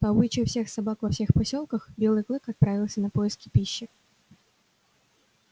по обычаю всех собак во всех посёлках белый клык отправился на поиски пищи